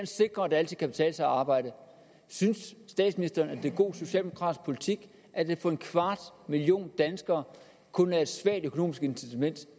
sikre at det altid kan betale sig at arbejde synes statsministeren at det er god socialdemokratisk politik at der for en kvart million danskere kun er et svagt økonomisk incitament